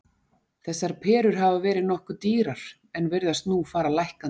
Þessar perur hafa verið nokkuð dýrar en virðast nú fara lækkandi.